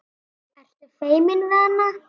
Ertu feiminn við hana?